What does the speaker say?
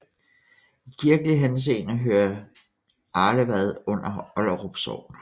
I kirkelig henseende hører Arlevad under Olderup Sogn